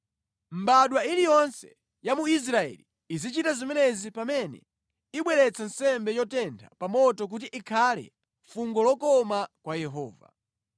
“ ‘Mbadwa iliyonse ya mu Israeli izichita zimenezi pamene ibweretsa nsembe yotentha pa moto kuti ikhale fungo lokoma kwa Yehova.